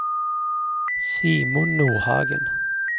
Simon Nordhagen